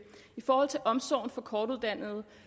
i forhold til omsorgen for kortuddannede